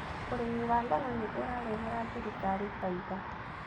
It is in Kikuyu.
Ũrĩmi wa ngano nĩ ũrarehera thirikari faida